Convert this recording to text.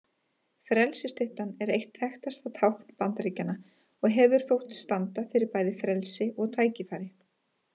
Frelsisstyttan er eitt þekktasta tákn Bandaríkjanna og hefur þótt standa fyrir bæði frelsi og tækifæri.